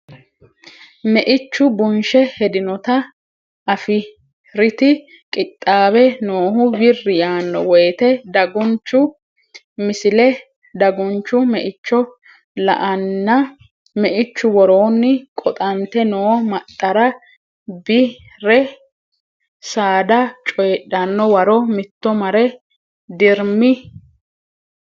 Meichu bunshe hedinota afi riti qixxaawe noohu wirri yaanno woyte dagunchu Misile Dagunchu meicho la anna meichu woroonni quxante noo maxxara Bi re saada coydhanno waro mitto mare dirmi.